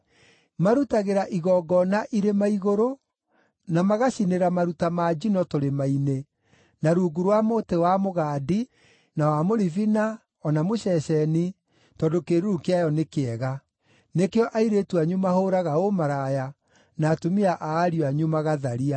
Marutagĩra igongona irĩma igũrũ, na magacinĩra maruta ma njino tũrĩma-inĩ, na rungu rwa mũtĩ wa mũgandi, na wa mũribina, o na mũceceni, tondũ kĩĩruru kĩayo nĩ kĩega. Nĩkĩo airĩtu anyu mahũũraga ũmaraya, na atumia a ariũ anyu magatharia.